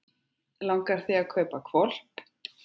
Langar þig að kaupa hvolp?